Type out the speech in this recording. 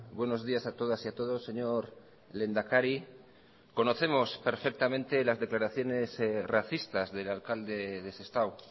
buenos días a todas y a todos señor lehendakari conocemos perfectamente las declaraciones racistas del alcalde de sestao